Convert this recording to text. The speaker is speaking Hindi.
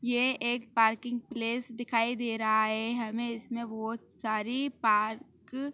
ये एक पार्किंग प्लेस दिखाई दे रहा है हमें इसमें बहुत सारी पार्क --